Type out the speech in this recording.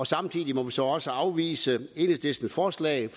samtidig må vi så også afvise enhedslistens forslag